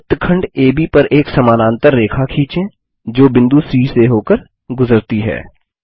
अब वृत्तखंड एबी पर एक समानांतर रेखा खीचें जो बिंदु सी से होकर गुजरती है